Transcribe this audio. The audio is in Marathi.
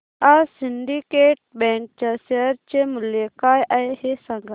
आज सिंडीकेट बँक च्या शेअर चे मूल्य काय आहे हे सांगा